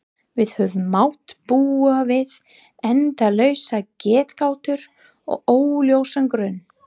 Við höfum mátt búa við endalausar getgátur og óljósan grun.